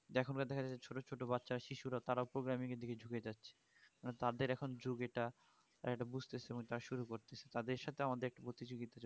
এখন যা দেখা যাচ্ছে ছোট ছোট বাচ্চা শিশুরা তারাও programming এর দিকে যুকে যাচ্ছে মানে তাদের এখন যুগ এটা এটা বুজতে সেরকম তার শুরু করতেছে তাদের সাথে আমাদের এক প্রতিযোগিতা